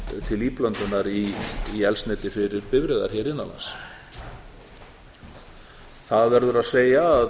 til íblöndunar í eldsneyti fyrir bifreiðar hér innan lands það verður að